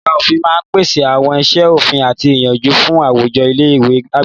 Ẹ̀ka òfin máa ń pèsè àwọn iṣẹ́ òfin àti ìyànjú fún àwùjọ ilé ìwé àgbà.